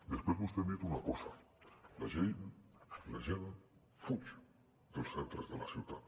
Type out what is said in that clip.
després vostè ha dit una cosa la gent fuig dels centres de la ciutat